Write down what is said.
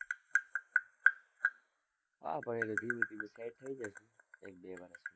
હા, પછી તો ધીમે ધીમે set થઇ જશે, એક-બે વર્ષ